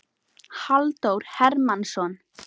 Halldór Hermannsson.